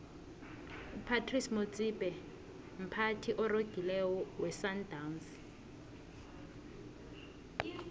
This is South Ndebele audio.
upratice motsipe mphathi oregileko wesandawnsi